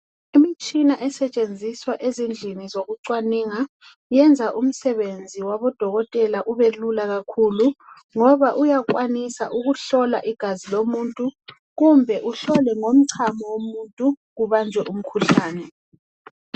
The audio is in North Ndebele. Imitshina esetshenziswa ezindlini zokucwaninga iyenza umisebenzi wabodokotela ubelula kakhulu ngoba uyakwanisa ukuhlola igazi lomuntu kumbe kuhlolwe ngomchamo womuntu kubanjwe umkhuhlane.